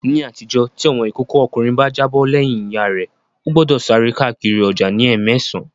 Ní àtijọ́, tí ọmọ ìkókó ọkùnrin bá jábọ̀ lẹ́yìn Ìyá rẹ, ó gbọ́dọ̀ sáré káàkiri ọjà ní ẹ́mẹsàn